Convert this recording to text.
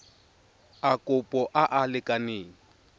a kopo a a lekaneng